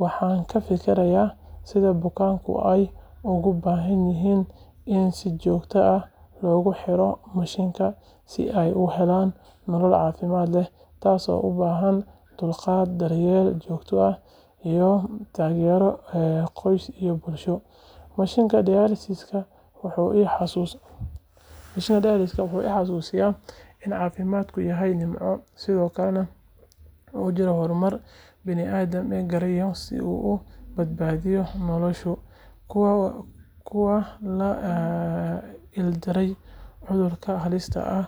Waxaan ka fikiraa sida bukaanada ay ugu baahan yihiin in si joogto ah loogu xiro mashiinkan si ay u helaan nolol caafimaad leh, taasoo u baahan dulqaad, daryeel joogto ah iyo taageero qoys iyo bulsho. Mashiinka dialysis-ka wuxuu i xasuusiyaa in caafimaadku yahay nimco, sidoo kalena uu jiro horumar bini’aadamku gaaray si uu u badbaadiyo nolosha.